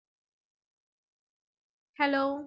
Hello